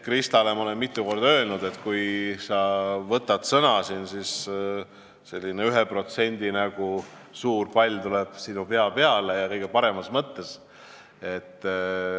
Kristale olen ma mitu korda öelnud, et kui sa võtad siin sõna, siis kerkib sinu pea kohale selline 1% näoga suur pall ja seda kõige paremas mõttes.